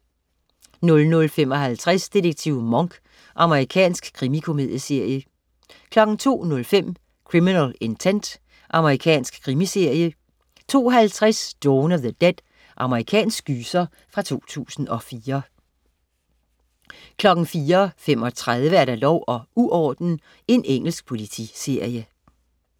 00.55 Detektiv Monk. Amerikansk krimikomedieserie 02.05 Criminal Intent. Amerikansk krimiserie 02.50 Dawn of the Dead. Amerikansk gyser fra 2004 04.35 Lov og uorden. Engelsk politiserie